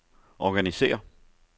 organisér